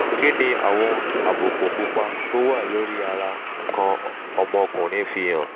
kí ni àwọn àbùkù pupa tó wà lórí ara nkan omokunrin fi hàn?